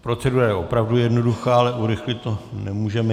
Procedura je opravdu jednoduchá, ale urychlit to nemůžeme.